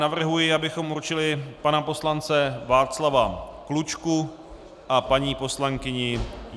Navrhuji, abychom určili pana poslance Václava Klučku a paní poslankyni.